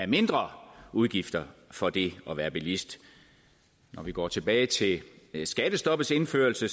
mindre udgifter for det at være bilist når vi går tilbage til skattestoppets indførelse